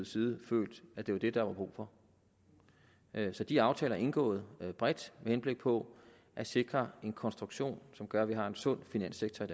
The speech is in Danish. side følt at det var det der var brug for så de aftaler er indgået bredt med henblik på at sikre en konstruktion som gør at vi har en sund finanssektor i